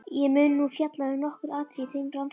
Ég mun nú fjalla um nokkur atriði í þeim rannsóknum.